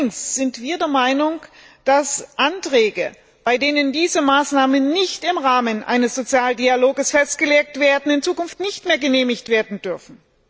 Allerdings sind wir der Meinung, dass Anträge, bei denen diese Maßnahmen nicht im Rahmen eines Sozialdialogs festgelegt werden, in Zukunft nicht mehr genehmigt werden dürfen.